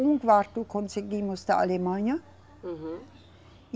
Um quarto conseguimos da Alemanha. Uhum.